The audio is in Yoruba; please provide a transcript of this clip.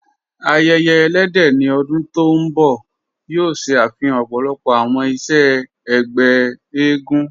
Àyẹ̀yẹ̀ ẹ̀lẹ́dẹ̀ ní ọ̀dún tó nbọ̀ yóò ṣẹ afihàn ọ̀pọ̀lọ̀pọ̀ awọn iṣẹ̀ ẹgbẹ̀ ègún.